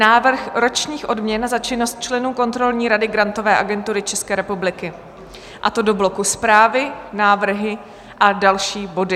Návrh ročních odměn za činnost členů Kontrolní rady Grantové agentury České republiky, a to do bloku Zprávy, návrhy a další body.